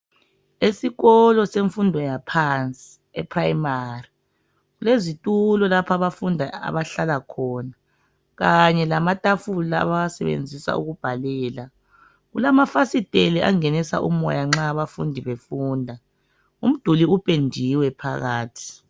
Esikolo semfundo yaphansi e primary kulezitulo lapho abafundi abahlala khona kanye lamatafula abawasebenzisa ukubhalela kulamafasitela angenisa umoya nxa abafundi befunda umduli upendiwe phakathi.